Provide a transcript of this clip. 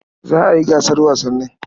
Za a yi gasar wasannin.